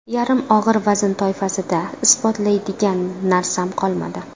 Yarim og‘ir vazn toifasida isbotlaydigan narsam qolmadi.